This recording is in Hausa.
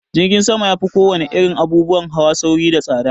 Jirgin sama ya fi ko wane irin abubuwan hawa sauri da tsaɗa.